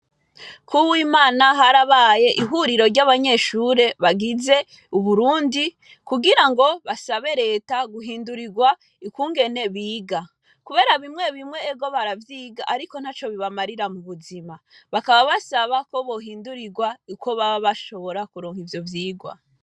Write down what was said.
Ku w'Imana harabaye ihuriro ry'abanyeshuri bagize Uburundi kugirango basabe reta guhindurirwa ukungene biga kubera bimwe bimwe ego baravyiga ariko ntaco bibamarira mu buzima bakaba basaba ko bohindurirwa uko baba bashobora kuronka ivyo vyirwa.